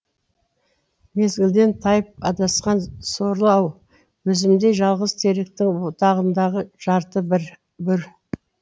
мезгілден тайып адасқан сорлы ау өзімдей жалғыз теректің бұтағындағы жарты бүр